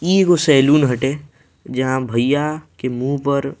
इ एगो सैलून हटे जहाँ भैया के मुंह पर --